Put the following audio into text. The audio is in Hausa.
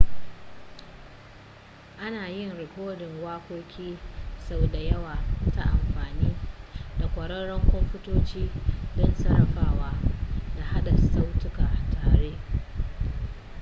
ana yin rikodin waƙoƙi sau da yawa ta amfani da ƙwararrun kwamfutoci don sarrafawa da haɗa sautuka tare